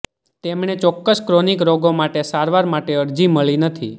તેમણે ચોક્કસ ક્રોનિક રોગો માટે સારવાર માટે અરજી મળી નથી